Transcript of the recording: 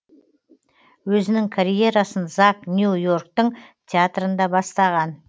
өзінің карьерасын зак нью йорктың театрында бастаған